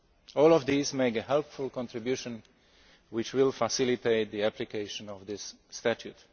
All of these make a helpful contribution which will facilitate the application of this statute.